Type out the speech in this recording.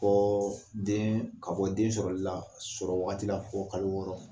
Ko den ka bɔ den sɔrɔli la sɔrɔwagati la fo kalo wɔɔrɔ